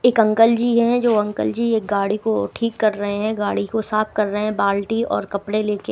एक अंकलजी है जो अंकलजी एक गाड़ी को ठीक कर रहे हैं गाड़ी को साफ कर रहे हैं बाल्टी और कपड़े लेके।